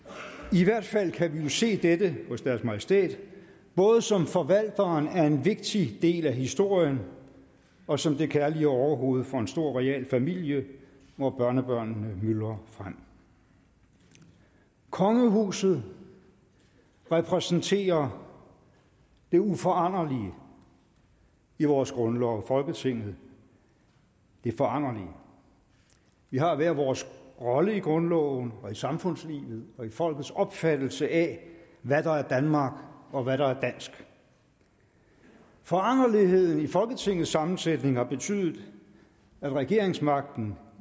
i hvert fald kan vi jo se dette hos deres majestæt både som forvalteren af en vigtig del af historien og som det kærlige overhoved for en stor royal familie hvor børnebørnene myldrer frem kongehuset repræsenterer det uforanderlige i vores grundlov folketinget det foranderlige vi har hver vores rolle i grundloven i samfundslivet og i folkets opfattelse af hvad der er danmark og hvad der er dansk foranderligheden i folketingets sammensætning har betydet at regeringsmagten